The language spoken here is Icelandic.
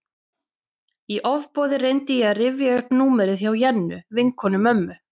Í ofboði reyndi ég að rifja upp númerið hjá Jennu, vinkonu mömmu.